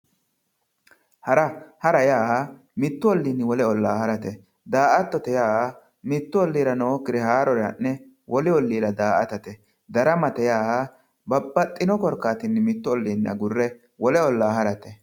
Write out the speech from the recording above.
Hara hara yaa mittu olliinni wole ollaa harate daa"attote yaa miutt olliira nookkire ha'ne daa"atate darama yaa mittu olliinni agurre wolu olliira daramate